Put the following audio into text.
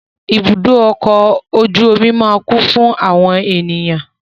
Ibùdó ọkọ̀ ojú omi máa kún fún àwọn ènìyàn.